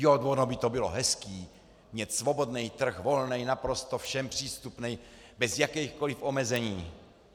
Jo, vono by to bylo hezký, mít svobodnej trh, volnej, naprosto všem přístupnej, bez jakejchkoliv omezení.